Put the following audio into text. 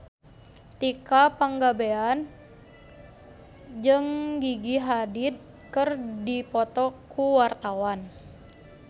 Tika Pangabean jeung Gigi Hadid keur dipoto ku wartawan